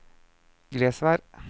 Glesvær